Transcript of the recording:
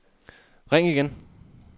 ring igen